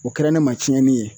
O kɛra ne ma tiɲɛni ye.